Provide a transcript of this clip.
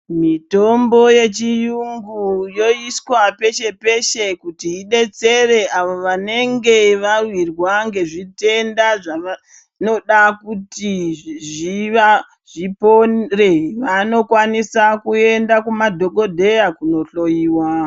Mitombo yechiyungu yoiswa peshe-peshe kuti ibetsere avo vanenge vawirwa ngezvitenda zvavanoda kuti zvipore, vanokwanisa kuenda kumadhokodheya kunohloyiwa.